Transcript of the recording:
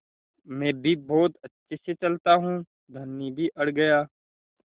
मैं भी बहुत अच्छे से चलता हूँ धनी भी अड़ गया